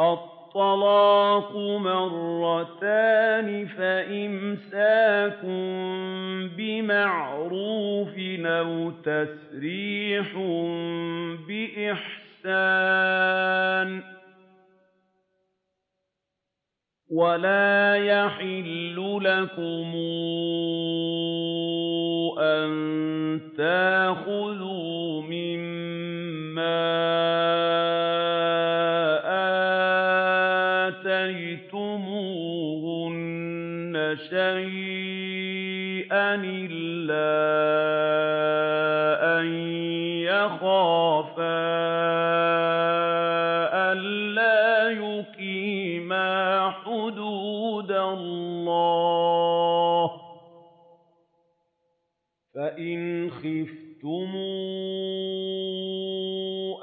الطَّلَاقُ مَرَّتَانِ ۖ فَإِمْسَاكٌ بِمَعْرُوفٍ أَوْ تَسْرِيحٌ بِإِحْسَانٍ ۗ وَلَا يَحِلُّ لَكُمْ أَن تَأْخُذُوا مِمَّا آتَيْتُمُوهُنَّ شَيْئًا إِلَّا أَن يَخَافَا أَلَّا يُقِيمَا حُدُودَ اللَّهِ ۖ فَإِنْ خِفْتُمْ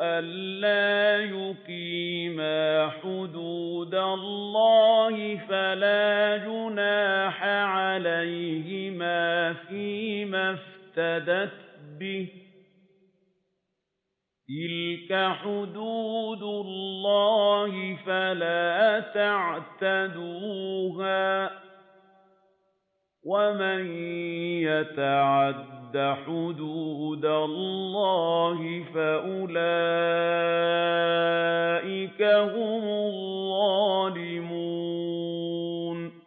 أَلَّا يُقِيمَا حُدُودَ اللَّهِ فَلَا جُنَاحَ عَلَيْهِمَا فِيمَا افْتَدَتْ بِهِ ۗ تِلْكَ حُدُودُ اللَّهِ فَلَا تَعْتَدُوهَا ۚ وَمَن يَتَعَدَّ حُدُودَ اللَّهِ فَأُولَٰئِكَ هُمُ الظَّالِمُونَ